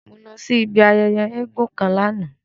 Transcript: Mo lọ si ibi ayẹyẹ èègún kan lana.